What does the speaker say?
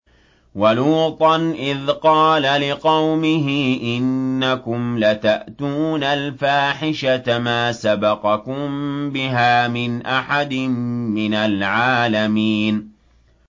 وَلُوطًا إِذْ قَالَ لِقَوْمِهِ إِنَّكُمْ لَتَأْتُونَ الْفَاحِشَةَ مَا سَبَقَكُم بِهَا مِنْ أَحَدٍ مِّنَ الْعَالَمِينَ